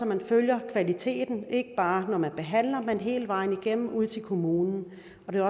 man følger kvaliteten ikke bare når man behandler men hele vejen igennem ud til kommunen og det